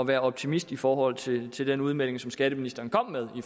være optimist i forhold til til den udmelding som skatteministeren kom med